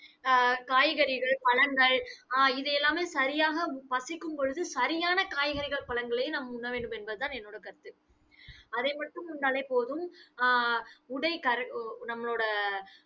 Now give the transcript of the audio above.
ஆஹ் காய்கறிகள் பழங்கள் ஆஹ் இது எல்லாமே சரியாக பசிக்கும் பொழுது, சரியான காய்கறிகள், பழங்களை நாம் உண்ணவேண்டும் என்பதுதான் என்னோட கருத்து அதை மட்டும் உண்டாலே போதும். ஆஹ் உடை நம்மளோட